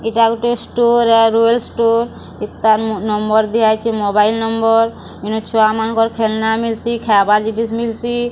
ଇଟା ଗୋଟେ store hardware store ଏତାର୍ ନମ୍ବର୍ ଦିଆଯାଉଚି ମୋବାଇଲ୍ ନମ୍ବର୍ ଏନେ ଛୁଆମାନଙ୍କର ଖେଲନା ମିଲସି ଖବାର୍ ଜିନିଷ୍ ମିଲସି।